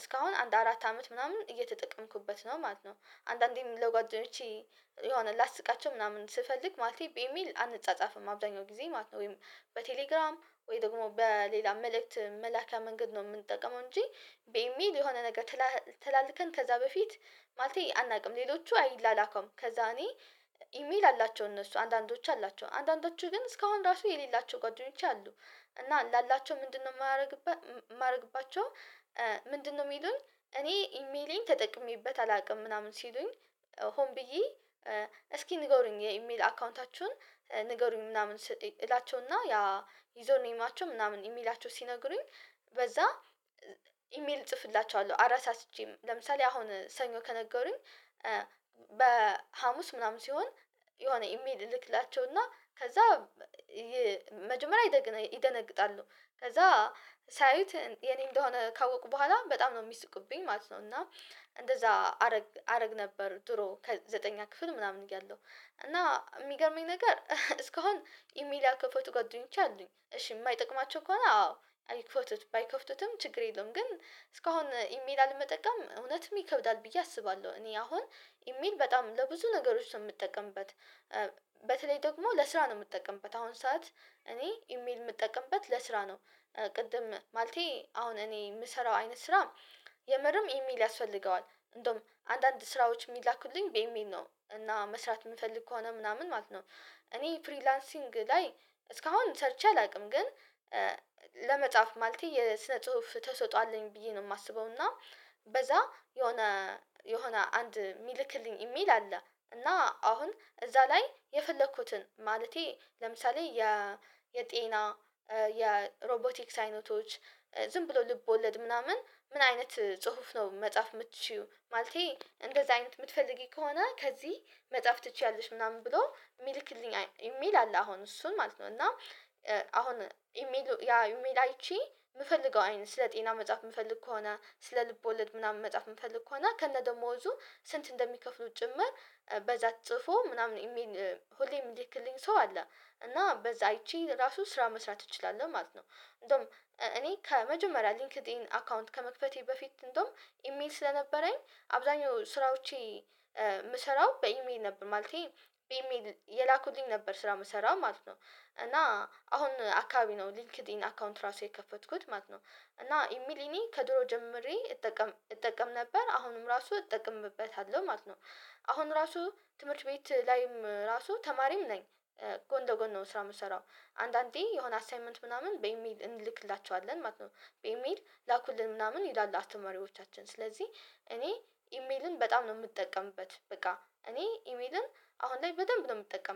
እስካሁን አንድ አራት አመት ምናምን እየተጠቀምኩበት ነው ማለት ነው። አንዳንዴም ለጓደኞቼ የሆነ ላስቃቸው ምናምን ስፈልግ ማለቴ በኢሜይል አንጻጻፍም አብዛኛው ጊዜ ማለት ነው። ወይም በቴሌግራም ወይ ደግሞ በሌላ መልእክት መላኪያ መንገድ ነው የምንጠቀመው እንጂ በኢሜል የሆነ ነገር ተላልከን ከዛ በፊት ማለቴ አናቅም። ሌሎቹ አይላላከውም ከዛ እኔ ኢሜል አላቸው እነሱ አንዳንዶች አላቸው አንዳንዶቹ ግን እስካሁን ራሱ የሌላቸው ጓደኞች አሉ። እና ላላቸው ምንድነው የማደርግባቸው? ምንድነው የሚሉኝ? እኔ ኢሜይሌን ተጠቅሜበት አላውቅም ምናምን ሲሉኝ ሆን ብዬ እስኪ ንገሩኝ የኢሜል አካውንታችሁን ንገሩኝ ምናምን እላችሁና ያ ዩዘር ኔማቸውን ምናምን የሚላቸው ሲነግሩኝ በዛ ኢሜል እጽፍላቸዋለሁ። አረሳስቼ ለምሳሌ አሁን ሰኞ ከነገሩኝ። በሀሙስ ምናምን ሲሆን የሆነ ኢሜል እልክላቸው እና ከዛ መጀመሪያ ይደነግጣሉ። ከዛ ሲያዩት የኔ እንደሆነ ካወቁ በኋላ በጣም ነው የሚስቁብኝ ማለት ነው። እና እንደዛ አረግ አረግ ነበር ድሮ ከዘጠነኛ ክፍል ምናምን እያለሁ እና የሚገርመኝ ነገር እስካሁን ኢሜይል ያልከፈቱ ጓደኞችች አሉኝ። እሺ የማይጠቅማቸው ከሆነ አዎ አይክፈቱት ባይከፍቱትም ችግር የለውም። ግን እስካሁን ኢሜል አልመጠቀም እውነትም ይከብዳል ብዬ አስባለሁ። እኔ አሁን ኢሜል በጣም ለብዙ ነገሮች ነው የምጠቀምበት። በተለይ ደግሞ ለስራ ነው የምጠቀምበት አሁን ሰዓት እኔ ኢሜል የምጠቀምበት ለስራ ነው። ቅድም ማለቴ አሁን እኔ የምሰራው አይነት ስራ የምርም ኢሜል ያስፈልገዋል። እንደውም አንዳንድ ስራዎች የሚላኩልኝ በኢሜይል ነው እና መስራት የምፈልግ ከሆነ ምናምን ማለት ነው። እኔ ፍሪላንሲንግ ላይ እስካሁን ሰርቼ አላውቅም ግን። ለመጻፍ ማለቴ የስነ ጽሁፍ ተሰጥኦ አለኝ ብዬ ነው የማስበው። እና በዛ የሆነ የሆነ አንድ የሚልክልኝ ኢሚል አለ። እና አሁን እዛ ላይ የፈለኩትን ማለቴ ለምሳሌ የ የጤና የሮቦቲክስ አይነቶች ዝም ብሎ ልቦለድ ምናምን ምን አይነት ጽሁፍ ነው መጻፍ የምትችይው ማለቴ እንደዚህ አይነት የምትፈልጊ ከሆነ ከዚህ መጽሐፍ ትችያለሽ ምናምን ብሎ የሚልክልኝ ኢሚል አለ። አሁን እሱን ማለት ነው። እና አሁን ያ ኢሜል አይቼ የምፈልገው አይን ስለ ጤና መጻፍ የምፈልግ ከሆነ ስለ ልብ ወለድ ምናምን መጻፍ የምፈልግ ከሆነ ከነ ደሞዙ ስንት እንደሚከፍሉት ጭምር በዛ ጽፎ ምናምን ሁሌም የሚልክልኝ ሰው አለ። እና በዛ አይቼ ራሱ ስራ መስራት እችላለሁ ማለት ነው። እንደውም እኔ ከመጀመሪያ ሊንክድኢን አካውንት ከመክፈቴ በፊት እንደውም ኢሜል ስለነበረኝ አብዛኛው ስራዎቼ የምሰራው በኢሜል ነበር ማለቴ በኢሜል የላኩልኝ ነበር ስራ የምሰራው ማለት ነው። እና አሁን አካባቢ ነው ሊንክድኢን አካውንት ራሱ የከፈትኩት ማለት ነው። እና ኢሜል እኔ ከድሮ ጀምሬ እጠቀም እጠቀም ነበር አሁንም ራሱ እጠቀምበታለሁ ማለት ነው። አሁን ራሱ ትምህርት ቤት ላይም ራሱ ተማሪም ነኝ። ጎን ለጎን ነው ስራ የምትሰራው አንዳንዴ የሆነ አሳይመንት ምናምን በኢሜል እንልክላችዋለን ማለት ነው። በኢሜል ላኩልን ምናምን ይላሉ አስተማሪዎቻችን ስለዚህ እኔ ኢሜልን በጣም ነው የምጠቀምበት። በቃ እኔ ኢሜልን አሁን ላይ በደንብ ነው የምጠቀምበት